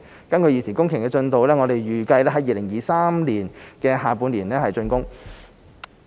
根據現時工程進度，體育園預計在2023年下半年竣工。